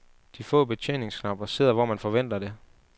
De få betjeningsknapper sidder hvor man forventer det.